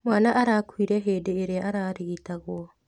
Mwana arakuire hĩndĩ ĩrĩa ararigitagwo.